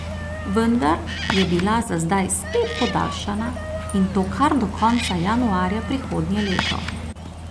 Vendar je bila za zdaj spet podaljšana, in to kar do konca januarja prihodnje leto.